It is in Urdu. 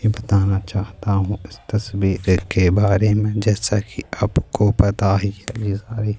یہ بتانا چاہتا ہوں اس تصویر کے بارے میں جیسا کہ اپ کو پتہ ہی ہے یہ ساری--